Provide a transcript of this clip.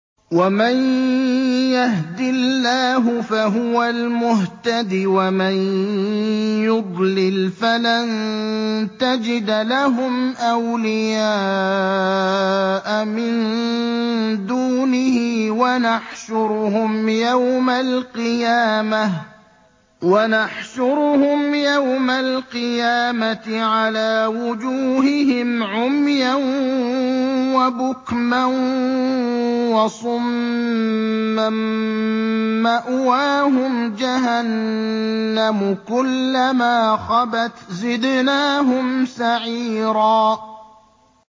وَمَن يَهْدِ اللَّهُ فَهُوَ الْمُهْتَدِ ۖ وَمَن يُضْلِلْ فَلَن تَجِدَ لَهُمْ أَوْلِيَاءَ مِن دُونِهِ ۖ وَنَحْشُرُهُمْ يَوْمَ الْقِيَامَةِ عَلَىٰ وُجُوهِهِمْ عُمْيًا وَبُكْمًا وَصُمًّا ۖ مَّأْوَاهُمْ جَهَنَّمُ ۖ كُلَّمَا خَبَتْ زِدْنَاهُمْ سَعِيرًا